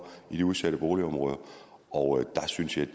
i de udsatte boligområder og der synes jeg